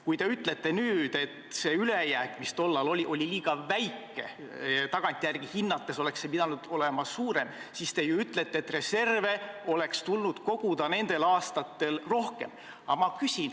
Kui te ütlete nüüd, et see ülejääk, mis tollal oli, oli liiga väike, et tagantjärele hinnates oleks see pidanud olema suurem, siis te ju ütlete, et reserve oleks tulnud koguda nendel aastatel rohkem.